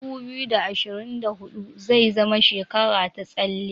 2024 zai zama shekara ta tsalle.